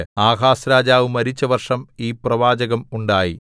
ആഹാസ്‌രാജാവ് മരിച്ച വർഷം ഈ പ്രവാചകം ഉണ്ടായി